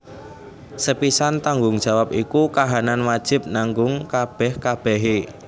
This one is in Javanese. Sepisan tanggung jawab iku kahanan wajib nanggung kabèh kabèhé